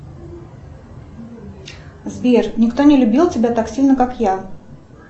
сбер никто не любил тебя так сильно как я